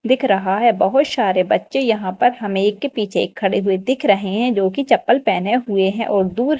दिख रहा है। बहोत शारे बच्चे यहाँ पर हमें एक के पीछे एक खड़े हुए दिख रहे है जो की चप्पल पहने हुए है और दूर--